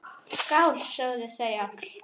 Skál, sögðu þau öll.